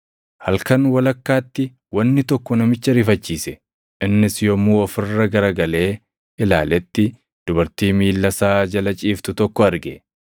Halkan walakkaatti wanni tokko namicha rifachiise; innis yommuu of irra garagalee ilaaletti dubartii miilla isaa jala ciiftu tokko arge.